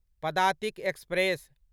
Padatik express